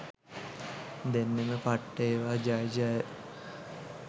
දෙන්නෙම පට්ට ඒවා ජය ජය.